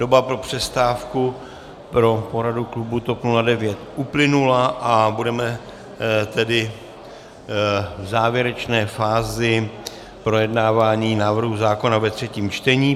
Doba pro přestávku pro poradu klubu TOP 09 uplynula a budeme tedy v závěrečné fázi projednávání návrhu zákona ve třetím čtení.